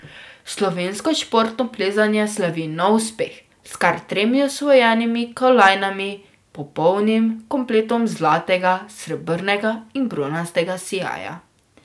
Slovensko športno plezanje slavi nov uspeh s kar tremi osvojenimi kolajnami, popolnim kompletom zlatega, srebrnega in bronastega sijaja.